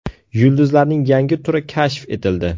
Yulduzlarning yangi turi kashf etildi.